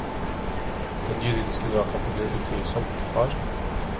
Den juridiske dragkampen blir utvilsomt hard.